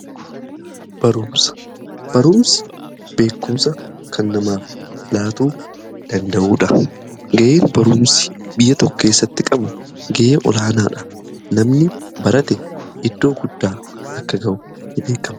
Barumsa beekumsa kan namaaf laatuu danda'uudha. Gahee baruumsi biyya tokko keessatti qabu gahee olaanaa dha namni barate iddoo guddaa akka ga'u ni beekama.